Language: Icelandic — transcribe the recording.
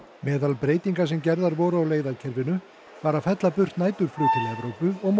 meðal breytinga sem gerðar voru á leiðakerfinu var að fella burt næturflug til Evrópu og